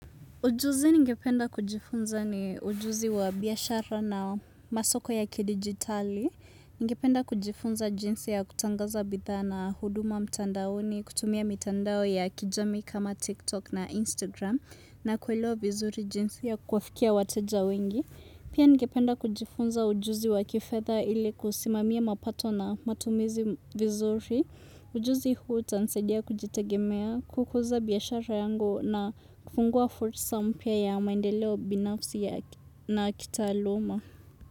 Ujuzi nigependa kujifunza ni ujuzi wa biashara na masoko ya kidigitali. Ningependa kujifunza jinsi ya kutangaza bidhaa na huduma mtandaoni, kutumia mitandao ya kijami kama TikTok na Instagram na kuelewa vizuri jinsi ya kuwafikia wateja wengi. Pia ningependa kujifunza ujuzi wa kifedha ili kusimamia mapato na matumizi vizuri. Ujuzi huu utansaidia kujitegemea kukuza biashara yangu na kufungua fursa mpya ya maendeleo binafsi na kitaaluma.